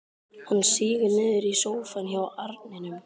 Hann sígur niður í sófann hjá arninum.